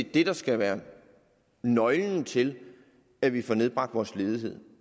det der skal være nøglen til at vi får nedbragt vores ledighed